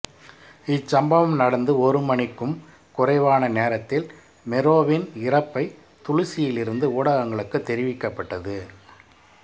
இச்சம்பவம் நடந்து ஒரு மணிக்கும் குறைவான நேரத்தில் மெராவின் இறப்பை துலுசிலிருந்த ஊடகங்களுக்குத் தெரிவிக்கப்பட்டது